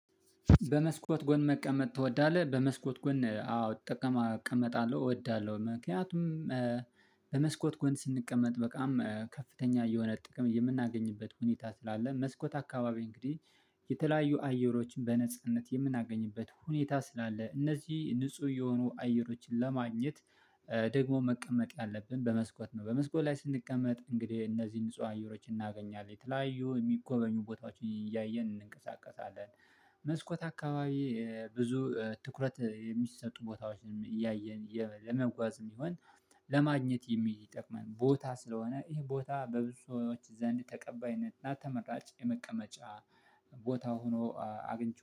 በመስኮት ጎን መቀመጥ ትወዳለህ? በመስኮት ጎን አዎ እቀመጣለሁ እወዳለሁ ምክንያቱም በመስኮት ጎን ስንቀመጥ በጣም ከፍተኛ የሆነ ጥቅም የምናገኝበት ሁኔታ ስላለ። መስኮት አካባቢ እንግዲህ የተለያዩ አየሮችን በነጻነት የምናገኝበት ሁኔታ ስላለ እነዚህ ንጹህ የሆኑ አየሮችን ለማግኘት ደግሞ መቀመጥ ያለብን በመስኮት ነው። በመስኮት ላይ ስንቀመጥ እንግዲህ እነዚህን ንጹህ አየሮችን እናገኛለን የተለያዩ የሚጎበኙ ቦታዎችን እያየን እንንቀሳቀሳለን። መስኮት አካባቢ ብዙ ትኩረት የሚሰጡ ቦታዎችን እያየን ለመጓዝም ይሆን። ለማግኘት የሚጠቅመን ቦታ ስለሆነ ይሄ ቦታ በብዙ ሰዎች ዘንድ ተቀባይነትና ተመራጭ የመቀመጫ ቦታ ሆኖ አግኝቼ